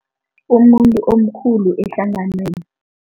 Umuntu omkhulu ehlanganweni.